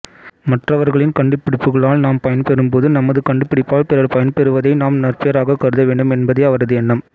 மற்றவர்களின் கண்டுபிடிப்புகளால் நாம் பயன்பெறும்போது நமது கண்டுபிடிப்பால் பிறர் பயன்பெறுவதை நாம் நற்பேறாகக் கருத வேண்டும் என்பதே அவரது எண்ணம்